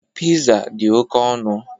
Piza dị oke ọnụ.